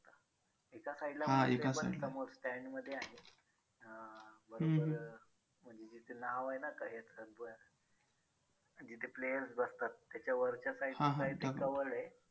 आ बाबासाहेबांचे विमान विशेष विमानाने मुबंईचे दादर चौपाटीवर आणण्यात आले. व त्यांचे अंतिम संस्कार बौद्ध रीती री रिजा नुसार करण्यात आले.